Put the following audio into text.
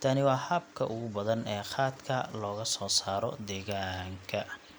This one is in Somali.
Tani waa habka ugu badan ee khatka looga soo saaro deegaanka.